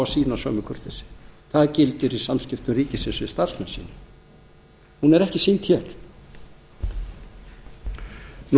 sýna sömu kurteisi það gildir í samskiptum ríkisins við starfsmenn sína hún er ekki sýnd hér